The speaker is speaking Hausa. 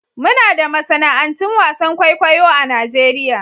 Muna da masana'antun wasan kwaikwayo a Najeriya.